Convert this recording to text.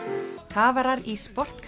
kafarar í